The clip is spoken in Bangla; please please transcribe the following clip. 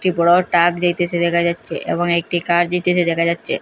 একটি বড় ট্রাক যাইতেসে দেখা যাচ্চে এবং একটি কার যাইতেসে দেখা যাচ্চে।